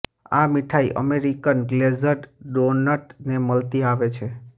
આ મીઠાઈ American glazed donut ને મળતી આવે છે